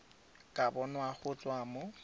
ka bonwa go tswa mo